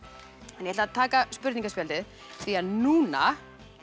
ég ætla að taka spurningaspjaldið því núna